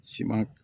Siman